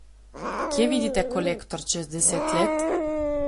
Kje vidite Kolektor čez deset let?